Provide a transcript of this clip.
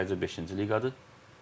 Sadəcə beşinci liqadır.